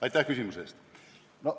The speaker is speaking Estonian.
Aitäh küsimuse eest!